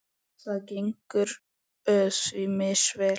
Það gengur því misvel.